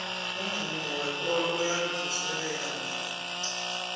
umvumo wekolo uyangivuselela mina